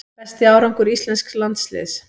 Besti árangur íslensks landsliðs